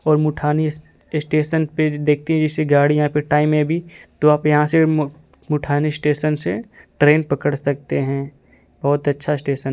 और मुठानी स्टेशन पे देखते जैसे गाड़ी यहां पे टाइम में भी तो आप यहां से म मुठानी स्टेशन से ट्रेन पकड़ सकते हैं बहुत अच्छा स्टेशन --